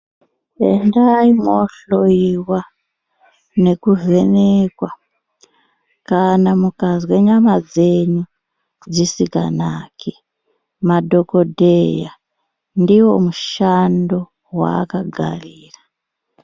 Endai mwohloiwa nekuvhenekwa kana mukazwe nyama dzenyu dzisikanaki, madhokodheya ndiyo mishando waakagarira.